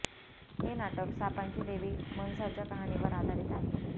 हे नाटक सापांची देवी मंसाच्या कहाणीवर आधारित आहे